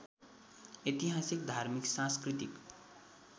ऐतिहासिक धार्मिक सांस्कृतिक